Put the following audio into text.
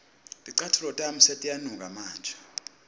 ticatfulo tami setiyanuka manje